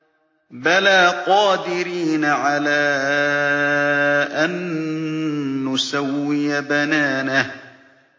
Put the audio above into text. بَلَىٰ قَادِرِينَ عَلَىٰ أَن نُّسَوِّيَ بَنَانَهُ